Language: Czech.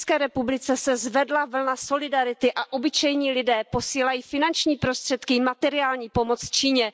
I v ČR se zvedla vlna solidarity a obyčejní lidé posílají finanční prostředky i materiální pomoc Číně.